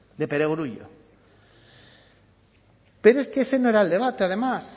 de perogrullo pero es que ese no era el debate además